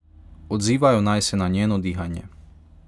Odzivajo naj se na njeno dihanje.